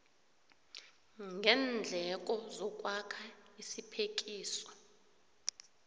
ngeendleko zokwakha isiphekiso